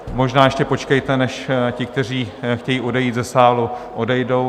Možná ještě počkejte, než ti, kteří chtějí odejít ze sálu, odejdou.